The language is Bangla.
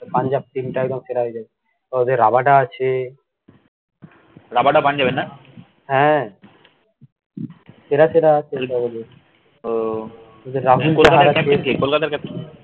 punjabteam একদম সেরা হয়ে যাবে, ও ওদের Rabada আছে, Rabada Punjab এর না? হ্যা, সেরা সেরা , ওহ কলকাতা র captain কে, কলকাতা র captain